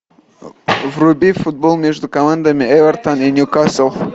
вруби футбол между командами эвертон и ньюкасл